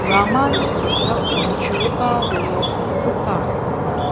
ramani kosako chugipa dolong ro·gipa donga.